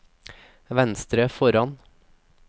venstre foran